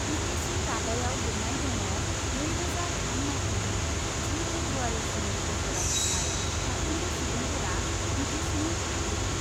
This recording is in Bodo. बि टि सि रादायाव लिरनाय दङ नैरोजा थाम माइथायनि जि फेब्रुवारीसिमनि गेजेराव थानाय साफ्रोमबो सुबुंफोरा बि टि सिनि थागिरि।